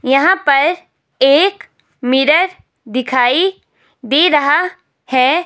यहां पर एक मिरर दिखाई दे रहा है।